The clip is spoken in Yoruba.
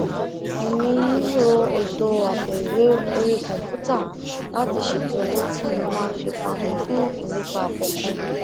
èmi ń lo ètò àpòìwé orí kòǹpútà láti ṣètò owó tí mo máa fi pamó fún ìlépa kòòkan